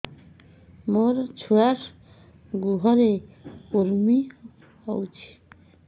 ମୋ ଛୁଆର୍ ଗୁହରେ କୁର୍ମି ହଉଚି